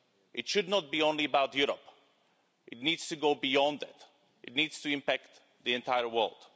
It should not be only about Europe it needs to go beyond that. It needs to impact the entire world.